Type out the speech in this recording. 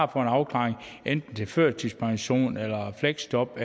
afklaring enten til førtidspension fleksjob